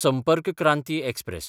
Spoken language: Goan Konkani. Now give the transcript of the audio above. संपर्क क्रांती एक्सप्रॅस